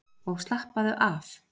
Og slappaðu af!